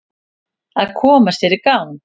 Að koma sér í gang